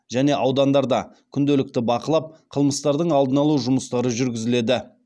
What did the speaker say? және аудандарда күнделікті бақылап қылмыстардың алдын алу жұмыстары жүргізіледі